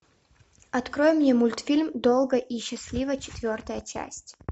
открой мне мультфильм долго и счастливо четвертая часть